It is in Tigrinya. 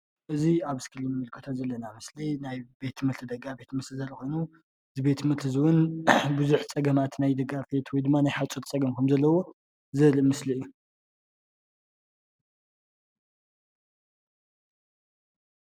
እዚ ኣብ እስክሪን እንምልከቶ ዘለና ምስሊ እዚ ናይ ቤት ትምህርቲ ደጋአፌት ምስሊ ኮይኑ እዚ ቤት ትምህርቲ እዚ እውን ቡዙሕ ፀገማት ናይ ደጋፍ ወይ ናይ ሓፁር ፀጋም ከምዘለዎ ዘርኢ ምስሊ እዩ፡፡